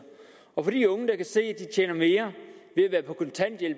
og for de unge der kan se at de tjener mere